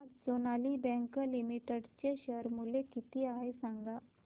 आज Sonali bank limited चे share मूल्य किती आहे सांगा